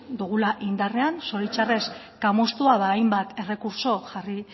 dugula indarrean zoritxarrez kamustua hainbat errekurtso jarri